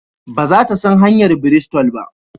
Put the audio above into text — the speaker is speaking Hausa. Ba za ta san hanyar Bristol ba?